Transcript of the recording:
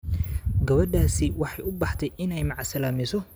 Gabadhaasi waxay u baxday inay macsalaamayso